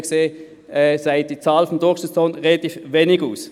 So gesehen sagt die Zahl des Durchschnittslohns wenig aus.